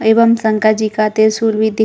एवं शंकर जी का त्रिसूल भी दिख--